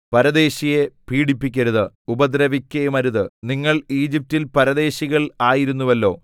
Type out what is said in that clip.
പരദേശിയെ പീഡിപ്പിക്കരുത് ഉപദ്രവിക്കയുമരുത് നിങ്ങൾ ഈജിപ്റ്റിൽ പരദേശികൾ ആയിരുന്നുവല്ലോ